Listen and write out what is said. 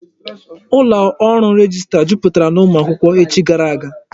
Ụlọ ọrụ rejistra jupụtara n'ụmụ akwụkwọ echi gara aga.